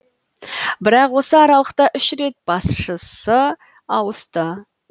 бірақ осы аралықта үш рет басшысы ауысты